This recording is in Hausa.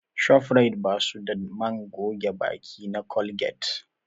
Shofrayit ba su da man goge baki na Colgate